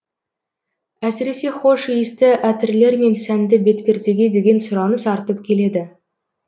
әсіресе хош иісті әтірлер мен сәнді бетпердеге деген сұраныс артып келеді